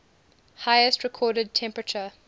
highest recorded temperature